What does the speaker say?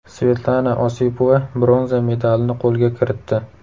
Svetlana Osipova bronza medalini qo‘lga kiritdi.